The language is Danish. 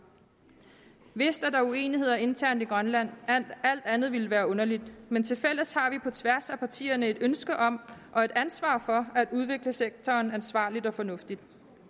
vist er der uenigheder internt i grønland alt andet ville være underligt men tilfælles har vi på tværs af partierne et ønske om og et ansvar for at udvikle sektoren ansvarligt og fornuftigt